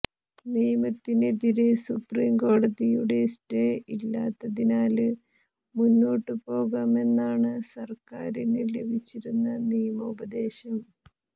നിയമത്തിനെതിരെ സുപ്രീം കോടതിയുടെ സ്റ്റേ ഇല്ലാത്തതിനാല് മുന്നോട്ടുപോകാമെന്നാണ് സര്ക്കാരിന് ലഭിച്ചിരിക്കുന്ന നിയമോപദേശം